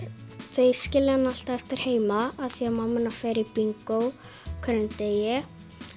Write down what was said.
þau skilja hana alltaf eftir heima af því að mamma hennar fer í bingó á hverjum degi